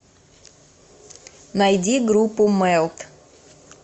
найди группу мэлт